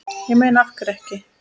Ég meina af hverju ekki?